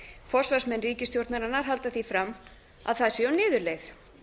forsvarsmenn ríkisstjórnarinnar halda því fram að það sé á niðurleið